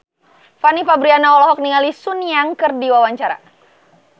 Fanny Fabriana olohok ningali Sun Yang keur diwawancara